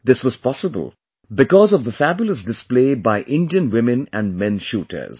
This was possible because of the fabulous display by Indian women and men shooters